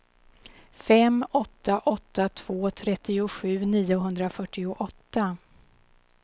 fem åtta åtta två trettiosju niohundrafyrtioåtta